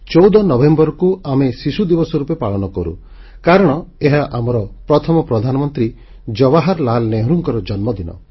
14 ନଭେମ୍ବରକୁ ଆମେ ଶିଶୁ ଦିବସ ରୂପେ ପାଳନ କରୁ କାରଣ ଏହା ଆମର ପ୍ରଥମ ପ୍ରଧାନମନ୍ତ୍ରୀ ଜବାହରଲାଲ ନେହେରୁଙ୍କର ଜନ୍ମଦିନ